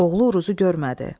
Oğlu Uruzu görmədi.